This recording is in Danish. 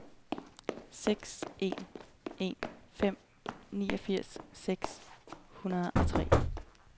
seks en en fem niogfirs seks hundrede og tre